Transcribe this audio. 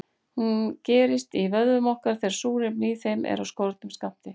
Hún gerist í vöðvum okkar þegar súrefni í þeim er af skornum skammti.